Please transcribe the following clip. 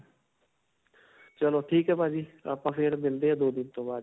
ਚਲੋ ਠੀਕ ਹੈ ਭਾਜੀ. ਆਪਾਂ ਫਿਰ ਮਿਲਦੇ ਹਾਂ ਦੋ ਦਿਨ ਦੇ ਬਾਦ.